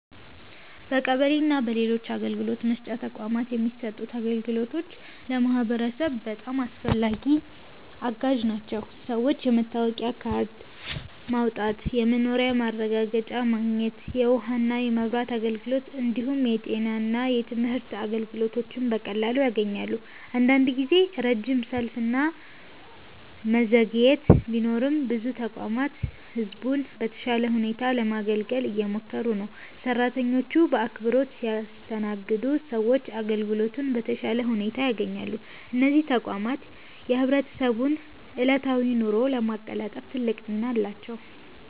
በቀበሌ እና በሌሎች አገልግሎት መስጫ ተቋማት የሚሰጡት አገልግሎቶች ለህብረተሰቡ በጣም አስፈላጊና አጋዥ ናቸው። ሰዎች የመታወቂያ ካርድ ማውጣት፣ የመኖሪያ ማረጋገጫ ማግኘት፣ የውሃና የመብራት አገልግሎት እንዲሁም የጤና እና የትምህርት አገልግሎቶችን በቀላሉ ያገኛሉ። አንዳንድ ጊዜ ረጅም ሰልፍ እና መዘግየት ቢኖርም ብዙ ተቋማት ህዝቡን በተሻለ ሁኔታ ለማገልገል እየሞከሩ ነው። ሰራተኞቹ በአክብሮት ሲያስተናግዱ ሰዎች አገልግሎቱን በተሻለ ሁኔታ ያገኛሉ። እነዚህ ተቋማት የህብረተሰቡን ዕለታዊ ኑሮ ለማቀላጠፍ ትልቅ ሚና አላቸው።